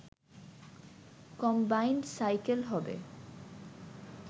combined cycle হবে